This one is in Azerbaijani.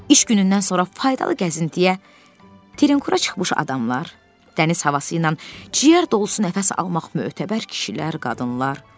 İş günündən sonra faydalı gəzintiyə, terekura çıxmış adamlar, dəniz havası ilə ciyər dolusu nəfəs almaq mötəbər kişilər, qadınlar.